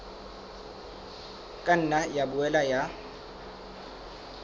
ka nna ya boela ya